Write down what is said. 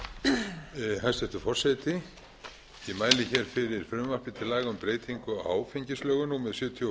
forseti ég mæli hér fyrir frumvarpi til laga um breytingu á áfengislögum númer sjötíu og